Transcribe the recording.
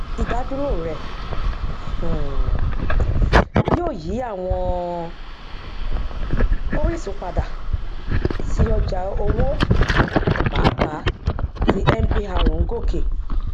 ìdádúró rẹ um yóò yí àwọn orísun padà sí ọjà owó pàápàá tí mpr ń gòkè